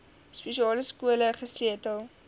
spesiale skole gesetel